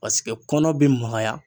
Paseke kɔnɔ bi magaya.